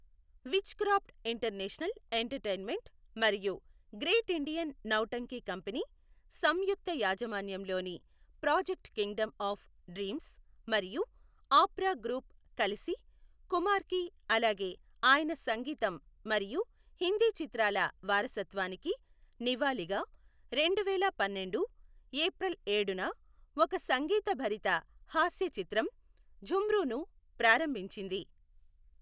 Wizcraft international entertainment మరియు great Indian Nautanki company సంయుక్త యాజమాన్యంలోని ప్రాజెక్ట్ కింగ్డమ్ ఆఫ్ డ్రీమ్స్ మరియు ఆప్రా గ్రూప్ కలిసి కుమార్కి అలాగే ఆయన సంగీతం మరియు హిందీ చిత్రాల వారసత్వానికి నివాళిగా రెండువేల పన్నెండు ఏప్రిల్ ఏడున ఒక సంగీతభరిత హాస్య చిత్రం ఝుమ్రూను ప్రారంభించింది.